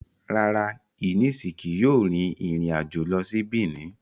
Rara, Eunice kii yoo rin irin ajo lọ si Benin